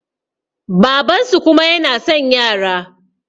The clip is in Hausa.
babansu kuma yana son yara